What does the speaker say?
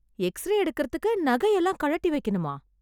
X ray எடுக்கறதுக்கு நகை எல்லாம் கழட்டி வைக்கணுமா?